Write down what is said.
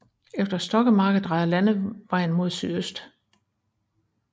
Efter Stokkemarke drejer landevejen mod sydøst